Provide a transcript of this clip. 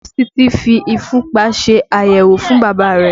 Nọ́ọ̀sì Titi fi ìfúnpá ṣe àyẹ̀wò fún Bàbá rẹ̀